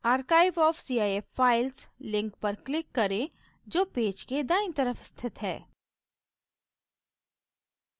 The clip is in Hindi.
archive of cif files link पर click करें जो पेज के दायीं तरफ स्थित है